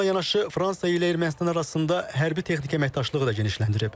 Bununla yanaşı Fransa ilə Ermənistan arasında hərbi texniki əməkdaşlığı da genişlənir.